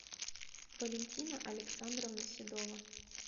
валентина александровна седова